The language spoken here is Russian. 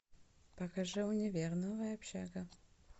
покажи универ новая общага